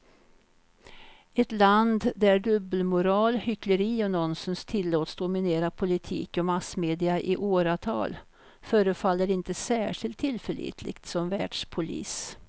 Ett land där dubbelmoral, hyckleri och nonsens tillåts dominera politik och massmedia i åratal förefaller inte särskilt tillförlitligt som världspolis.